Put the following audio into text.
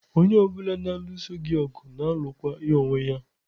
Onye ọ bụla na-alụso gị ọgụ, na-alụkwa ya onwe ya.